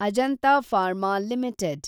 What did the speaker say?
Ajanta pharma limited